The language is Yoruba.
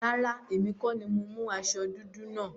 Rárá, èmi kọ́ni mo mú aṣọ dúdú náà.